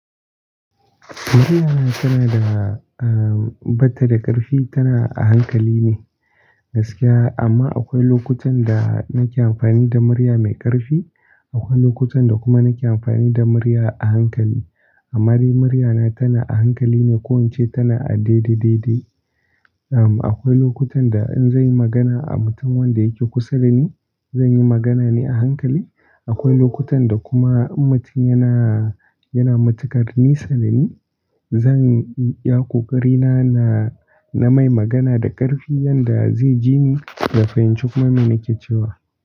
Muryana tana da, ah, batta da ƙarfi, tana a hankali ne gaskiya. Amma akwai lokutan da nake amfani da murya mai ƙarfi, akwai lokutan da kuma nake amfani da murya a hankali. Amma dai muryana tana a hankali ne, ko ince tana a daidai daidai. Am, akwai lokutan da in zanyi magana a mutum wanda yake kusa da ni, zanyi magana ne a hankali. Akwai lokutan da kuma in mutum yana, yana matuƙar nisa da ni, zan yi iya ƙoƙari na, na mai magana da ƙarfi yanda zai jini da fahimci kuma me nake cewa.